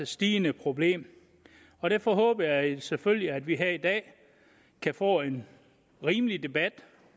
stigende problem derfor håber jeg selvfølgelig at vi her i dag kan få en rimelig debat